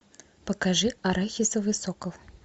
покажи арахисовый сокол